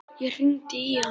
Ég hringdi í hann.